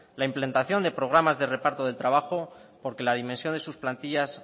la implantación de programas de reparto del trabajo porque la dimensión en sus plantillas